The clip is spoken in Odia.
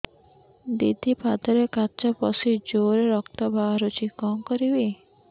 ଦିଦି ପାଦରେ କାଚ ପଶି ଜୋରରେ ରକ୍ତ ବାହାରୁଛି କଣ କରିଵି